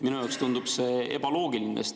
Minu jaoks tundub see ebaloogiline.